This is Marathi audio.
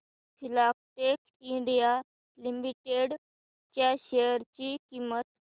फिलाटेक्स इंडिया लिमिटेड च्या शेअर ची किंमत